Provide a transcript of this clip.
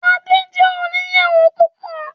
Adé jẹ́ oníyàwó púpọ̀.